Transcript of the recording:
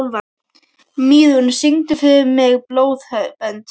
Mýrún, syngdu fyrir mig „Blóðbönd“.